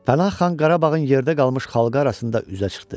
Pənah xan Qarabağın yerdə qalmış xalqı arasında üzə çıxdı.